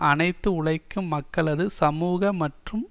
அனைத்து உழைக்கும் மக்களது சமூக மற்றும்